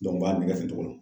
u b'a nɛgɛ ten cogo la.